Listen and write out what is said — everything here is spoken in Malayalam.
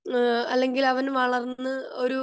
ഏഹ്ഹ് അല്ലെങ്കിൽ അവൻ വളർന്ന് ഒരു